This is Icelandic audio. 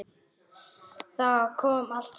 Þá kom allt saman.